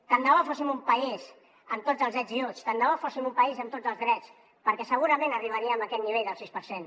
tant de bo fóssim un país amb tots els ets i uts tant de bo fóssim un país amb tots els drets perquè segurament arribaríem a aquest nivell del sis per cent